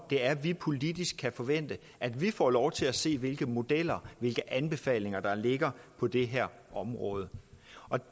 det er vi politisk kan forvente at vi får lov til at se hvilke modeller og hvilke anbefalinger der ligger på det her område